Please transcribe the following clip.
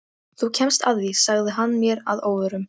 Þú kemst að því sagði hann mér að óvörum.